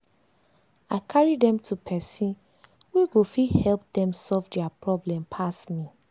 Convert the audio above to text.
i carry dem to person wey go fit help dem solve dia problem pass me.